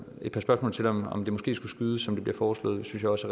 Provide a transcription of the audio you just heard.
et par spørgsmål til om det måske skulle skydes som det blev foreslået synes jeg også